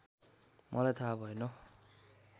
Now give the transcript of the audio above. मलाई थाहा भएन